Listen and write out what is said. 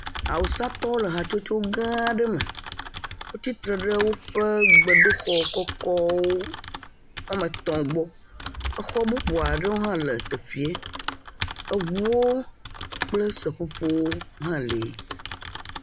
Awusatɔwo le hatsotso gã aɖe me. Wotsitre ɖe woƒe gbedoxɔ kɔkɔwo wɔme etɔ̃ gbɔ. Exɔ bubu aɖewo hã le teƒea. Eŋuwo kple seƒoƒowo hã li.